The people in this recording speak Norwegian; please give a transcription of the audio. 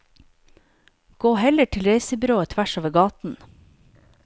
Gå heller til reisebyrået tvers over gaten.